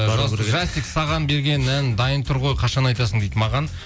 жасик саған берген ән дайын тұр ғой қашан айтасың дейді маған